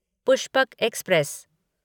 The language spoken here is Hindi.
पुष्पक एक्सप्रेस